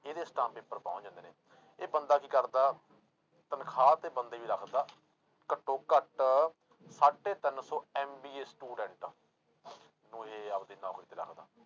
ਇਹਦੇ stamp paper ਪਹੁੰਚ ਜਾਂਦੇ ਨੇ, ਇਹ ਬੰਦਾ ਕੀ ਕਰਦਾ ਤਨਖਾਹ ਤੇ ਬੰਦੇ ਵੀ ਰੱਖਦਾ ਘੱਟੋ ਘੱਟ ਸਾਢੇ ਤਿੰਨ ਸੌ MBA student ਨੂੰ ਇਹ ਆਪਦੀ ਨੌਕਰੀ ਤੇ ਰੱਖਦਾ।